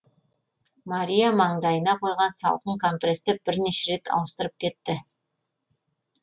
мария маңдайына қойған салқын компресті бірнеше рет ауыстырып кетті